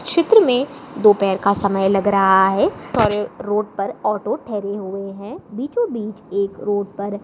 चित्र में दोपहर का समय लग रहा है और रोड पर ऑटो ठहरे हुए हैं बीचों-बीच एक रोड पर--